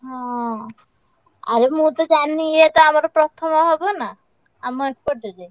ହଁ, ଆରେ ମୁଁ ତ ଜାଣିନି ଇଏତ ଆମର ପ୍ର~ ଥମ~ ହବ ନା। ଆମ ଏପଟରେ।